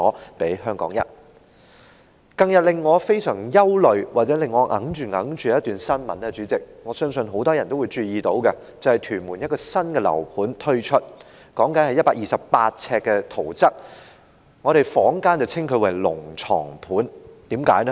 代理主席，近日令我非常憂慮或耿耿於懷的一則新聞，我相信很多人都注意到，也就是屯門有一個新樓盤推出，說的是128平方呎的圖則，坊間稱之為"龍床盤"，為甚麼？